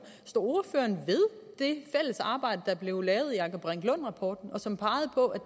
står ordføreren ved det fælles arbejde der blev lavet i anker brink lund rapporten og som pegede på